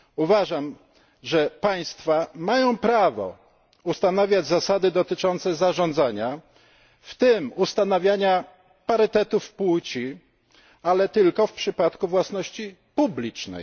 Uważam, że państwa mają prawo ustanawiać zasady dotyczące zarządzania, w tym ustanawiania parytetów płci, ale tylko w przypadku własności publicznej.